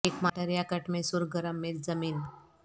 ایک مارٹر یا کٹ میں سرخ گرم مرچ زمین